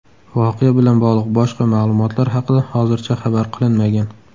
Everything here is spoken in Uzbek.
Voqea bilan bog‘liq boshqa ma’lumotlar haqida hozircha xabar qilinmagan.